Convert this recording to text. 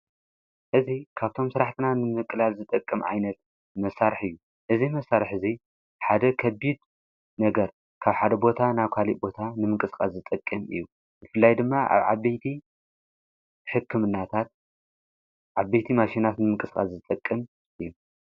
እዙ ካብቶም ሥራሕትና ንምነቕላል ዝጠቅም ኣይነት መሣርሕ እዩ እዙ መሣርሕ እዙይ ሓደ ኸቢድ ነገር ካብ ሓደ ቦታ ና ካሊእ ቦታ ንምንቅጽቃት ዝጠቅም እዩ ይፍላይ ድማ ኣብ ዓበቲ ሕክምናታት ዓቤይቲ ማሽናት ንምንቅጽቃት ዝጠቅም እዩ።